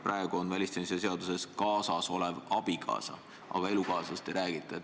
Praegu on välisteenistuse seaduses kirjas "kaasasolev abikaasa", aga elukaaslasest ei räägita.